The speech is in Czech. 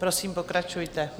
Prosím, pokračujte.